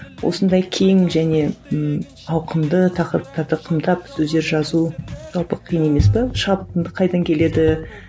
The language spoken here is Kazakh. осындай кең және ммм ауқымды тақырыптарды қымтап сөздер жазу жалпы қиын емес пе шабытың да қайдан келеді